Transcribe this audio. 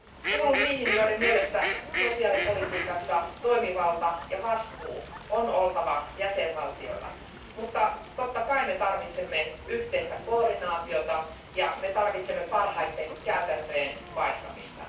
Kuulun niihin, joiden mielestä sosiaalipolitiikassa toimivalta ja vastuu on oltava jäsenvaltioilla, mutta totta kai me tarvitsemme yhteistä koordinaatiota ja parhaiden käytäntöjen vaihtamista.